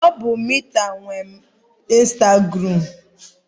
Ọ bụ Meta nwe instagụram.